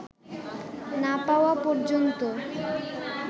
না পাওয়া পর্যন্ত